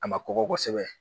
A ma kɔgɔ kosɛbɛ